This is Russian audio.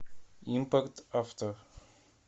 импорт авто